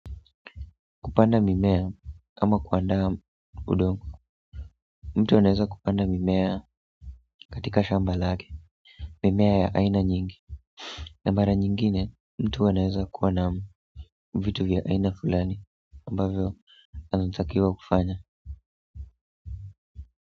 Kupanda mimea ama kuandaa udongo mtu anaeza kupanda mimea katika shamba lake mimea ya aina nyingi na mara nyingine mtu anaeza kuwa naam vitu vya aina fulani ambavyo anatakiwa kufanya.